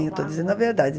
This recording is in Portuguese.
Eu estou dizendo a verdade.